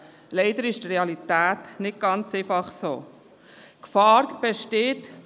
Leider ist die Realität nicht ganz so einfach.